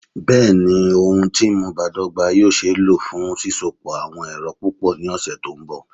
Bẹẹni, ohun ti nmu badọgba yoo ṣee lo fun sisopọ awọn ẹrọ pupọ ni ọsẹ to nbọ